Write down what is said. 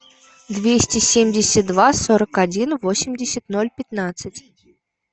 двести семьдесят два сорок один восемьдесят ноль пятнадцать